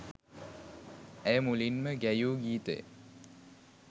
ඇය මුලින්ම ගැයූ ගීතය